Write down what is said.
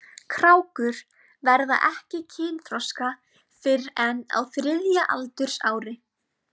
Krákur verða ekki kynþroska fyrr en á þriðja aldursári.